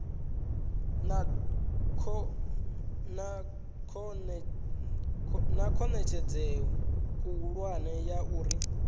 na khonadzeo khulwane ya uri